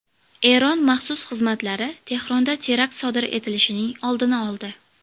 Eron maxsus xizmatlari Tehronda terakt sodir etilishining oldini oldi.